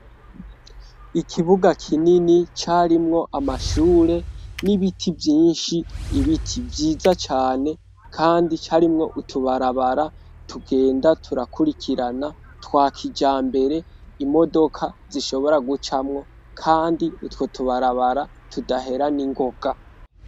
Ikibuga kinini carimwo amashure n'ibiti vyinshi ibiti vyiza cane ,kandi carimwo utubarabara tugenda turakurikirana twakijambere imodoka zishobora gucamwo, kandi utwo tubarabara tudahera n'ingoga.